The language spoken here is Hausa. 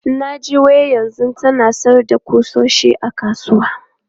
Na ji wai yanzu tana sayar da ƙusoshi a kasuwa.